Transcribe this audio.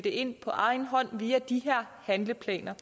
ind på egen hånd via de her handleplaner